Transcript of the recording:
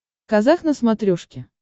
казах на смотрешке